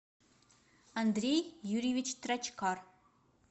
андрей юрьевич трочкар